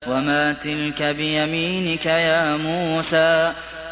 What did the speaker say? وَمَا تِلْكَ بِيَمِينِكَ يَا مُوسَىٰ